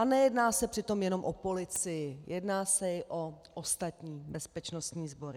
A nejedná se přitom jenom o policii, jedná se i o ostatní bezpečnostní sbory.